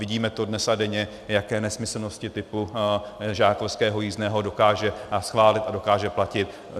Vidíme to dnes a denně, jaké nesmyslnosti typu žákovského jízdného dokáže schválit a dokáže platit.